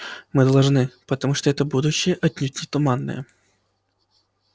мы должны потому что это будущее отнюдь не туманное